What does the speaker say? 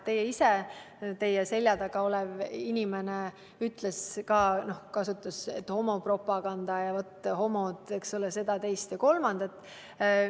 Teie ise ütlesite ja ka teie selja taga olev inimene ütles, et homopropagandaga ja et homod seda, teist ja kolmandat.